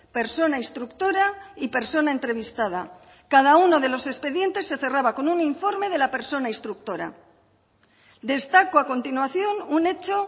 persona instructora y persona entrevistada cada uno de los expedientes se cerraba con un informe de la persona instructora destaco a continuación un hecho